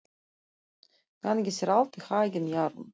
Gangi þér allt í haginn, Jarún.